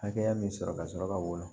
Hakɛya min sɔrɔ ka sɔrɔ ka woyo